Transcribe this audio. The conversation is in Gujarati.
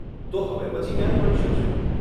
તો હવે પછી ક્યારે મળી શકશે?